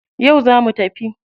Yau zamu tafi.